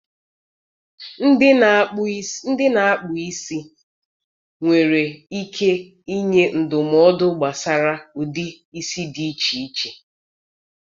Ndị na-akpụ isi nwere ike ịnye ndụmọdụ gbasara ụdị isi dị iche iche.